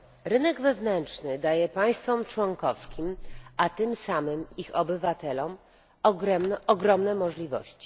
Rynek wewnętrzny daje państwom członkowskim, a tym samym ich obywatelom, ogromne możliwości.